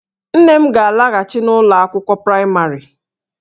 Nne m ga-alaghachi n'ụlọ akwụkwọ praịmarị